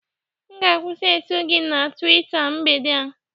M ga- akwusi eso gị na Tuweeta mgbede a